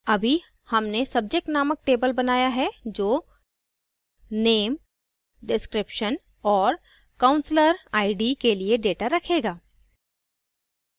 अभी हमने subject named table बनाया है जो name description और counselor id के लिए data रखेगा